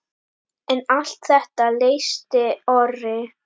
En allt þetta leysti Orri.